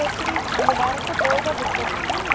எப்படி book பண்றது தெரியல நான் friend கிட்ட கேட்டு சொல்றேன்.